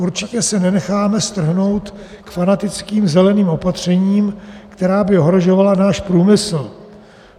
Určitě se nenecháme strhnout k fanatickým zeleným opatřením, která by ohrožovala náš průmysl.